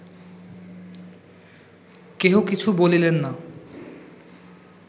কেহ কিছু বলিলেন না